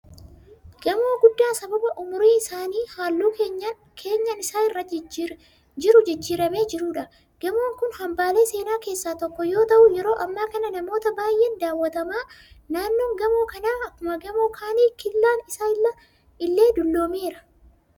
Gamoo guddaa sababa umurii isaan halluun keenyan isaa irra jiru jijjiiramee jiruudha. Gamoon kun hambaalee seenaa keessaa tokko yoo ta'u yeroo hammaa kana namoota baay'een daawwatama. Naannoon gamoo kanaa akkuma gamoo kanaa killaan isaa illee dulloomeera.